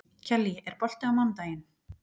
Kellý, er bolti á mánudaginn?